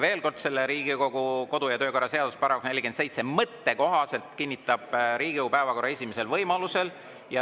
Veel kord: Riigikogu kodu‑ ja töökorra seaduse § 47 mõtte kohaselt kinnitab Riigikogu päevakorra esimesel võimalusel.